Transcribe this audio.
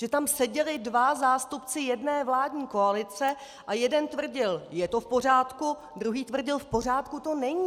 Že tam seděli dva zástupci jedné vládní koalice a jeden tvrdil je to v pořádku, druhý tvrdil v pořádku to není!